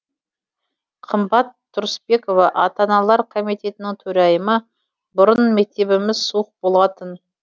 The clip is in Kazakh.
қымбат тұрысбекова ата аналар комитетінің төрайымы бұрын мектебіміз суық болатын